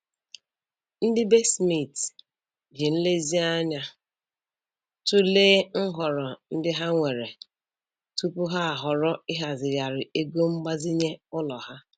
Ndị be Smith ji nlezianya tụlee nhọrọ ndị ha nwere tupu ha ahọrọ ịhazigharị ego mgbazinye ụlọ ha.